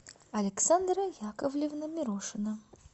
александра яковлевна мирошина